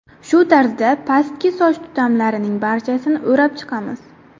Shu tarzda pastki soch tutamlarining barchasini o‘rab chiqamiz.